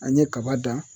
An ye kaba dan